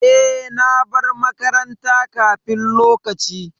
E, na bar makaranta kafin lokaci.